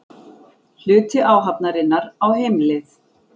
Hluti áhafnarinnar á heimleið